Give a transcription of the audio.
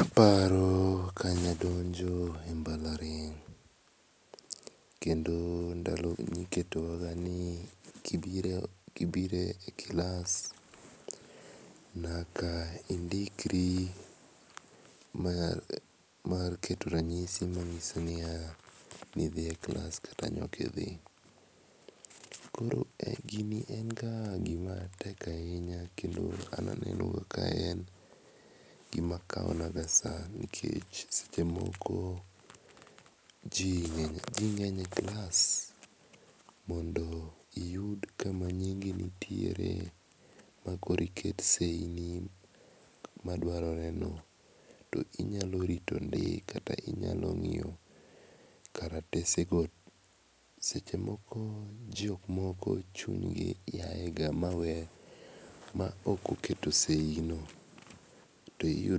Aparo kane adonjo e mbalariany, kendo ndalono ne iketowa ga ni kibiro e klas to nyaka indikri mar keto ranyisi manyiso ni ne in e klas kata nne ok idhi. Koro gini en ga gima tek ahinya kendo an aneno kaen gima kawonaga saa nikech seche moko ji ng'eny e klas mondo iyud kama nyingi nitiere ma iket seyi enyingi madwaroreno inyalo ng'iyo ndi. Seche moko jomoko weyo